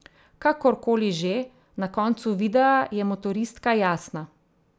Kakor koli že, na koncu videa je motoristka jasna.